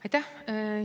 Aitäh!